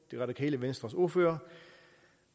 det radikale venstres ordfører